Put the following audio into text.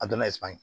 A donna